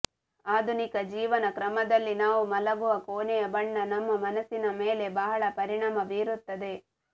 ಆಧುನಿಕ ಜೀವನ ಕ್ರಮದಲ್ಲಿ ನಾವು ಮಲಗುವ ಕೊನೆಯ ಬಣ್ಣ ನಮ್ಮ ಮನಸಿನ ಮೇಲೆ ಬಹಳ ಪರಿಣಾಮ ಬೀರುತ್ತದೆ